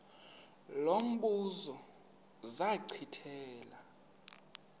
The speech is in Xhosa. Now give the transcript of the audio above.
lo mbuzo zachithela